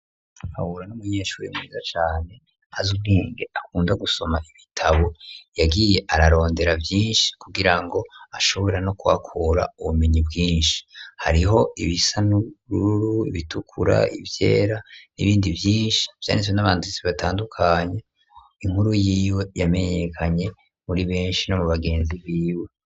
Habura n'umunyeshuri mwiza cane aziuwinge akunda gusoma ibitabo yagiye ararondera vyinshi kugira ngo ashobora no kwakura ubumenyi bwinshi hariho ibisa n'urru ibitukura ivyera n'ibindi vyinshi vyanetswe n'abanzitsi batandukanya inkuru yiyo yamenye nekanye muri benshi no mu bagenzi biwe.